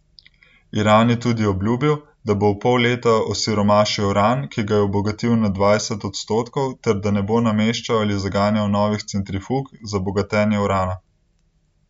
Iran je tudi obljubil, da bo v pol leta osiromašil uran, ki ga je obogatil na dvajset odstotkov ter da ne bo nameščal ali zaganjal novih centrifug za bogatenje urana.